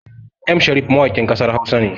M Sharif mawakin ƙasar Hausa ne